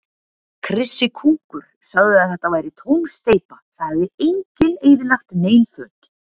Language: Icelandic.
Krissi kúkur sagði að þetta væri tóm steypa, það hefði enginn eyðilagt nein föt.